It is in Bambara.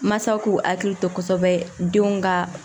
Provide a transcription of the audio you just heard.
Mansaw k'u hakili to kosɛbɛ denw ka